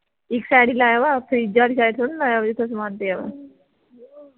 ਇਸ side ਹੀ ਲਾਇਆ ਵਾ fridge ਆਲੀ side ਥੋੜੀ ਲਾਇਆ ਵਾ ਜਿਥੇ ਸਮਾਨ ਪਿਆ ਵਾ